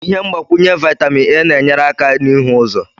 Ihe mgbakwunye vitamin A na-enyere aka n'ihu ụzọ